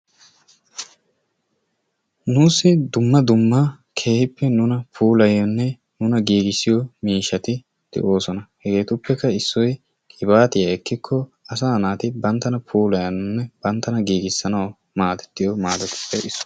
nuussi dumma dumma keehippe nuna puulayiyoonne nuna giigisiyoo miishati de"oosona. hegetuppekka issoy qibaatiyaa ekkikoo asaa naati banttana puulayanawune banttana giigissanawu maaddetiyoo maado erissuwaa.